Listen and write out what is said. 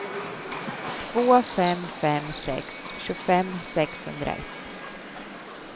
två fem fem sex tjugofem sexhundraett